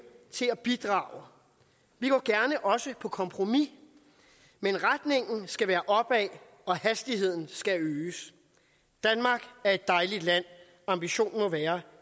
til at bidrage vi går også på kompromis men retningen skal være opad og hastigheden skal øges danmark er et dejligt land ambitionen må være